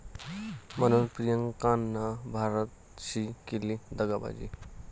...म्हणून प्रियांकानं 'भारत'शी केली दगाबाजी